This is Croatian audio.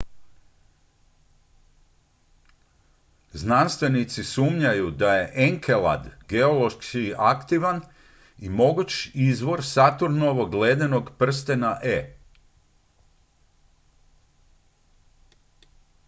znanstvenici sumnjaju da je enkelad geološki aktivan i mogući izvor saturnovog ledenog prstena e